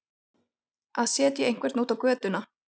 Að setja einhvern út á götuna